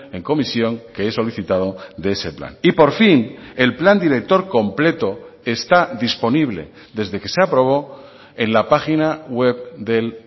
en comisión que he solicitado de ese plan y por fin el plan director completo está disponible desde que se aprobó en la página web del